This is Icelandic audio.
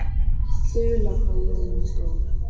Þula, hvað er jörðin stór?